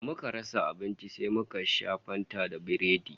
Da muka rasa abinci sai muka sha Fanta da Biredi